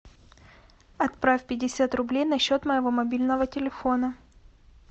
отправь пятьдесят рублей на счет моего мобильного телефона